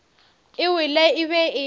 e wele e be e